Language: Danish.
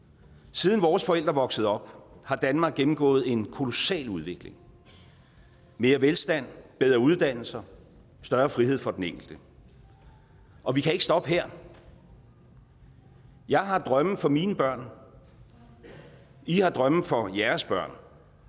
siden vores forældre voksede op har danmark gennemgået en kolossal udvikling mere velstand bedre uddannelser større frihed for den enkelte og vi kan ikke stoppe her jeg har drømme for mine børn i har drømme for jeres børn